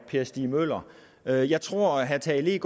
per stig møller jeg jeg tror at herre tage